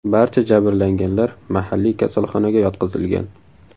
Barcha jabrlanganlar mahalliy kasalxonaga yotqizilgan.